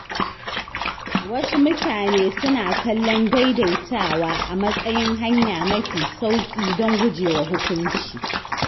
Wasu mutane suna kallon “daidaitawa” a matsayin hanya mafi sauƙi don gujewa hukunci.